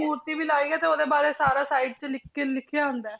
ਮੂਰਤੀ ਵੀ ਲਾਈ ਹੈ ਤੇ ਉਹਦੇ ਬਾਰੇ ਸਾਰਾ side 'ਚ ਲਿਖ ਕੇ ਲਿਖਿਆ ਹੁੰਦਾ ਹੈ।